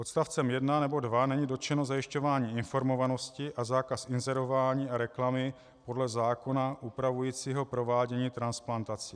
Odstavcem 1 nebo 2 není dotčeno zajišťování informovanosti a zákaz inzerování a reklamy podle zákona upravujícího provádění transplantací.